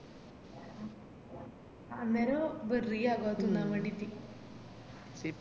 അന്നേരം വേറെയാ വേരെന്നെഗും തിന്നാൻ വേണ്ടിറ്റ്